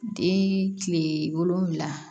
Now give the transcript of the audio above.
Den tile wolonwula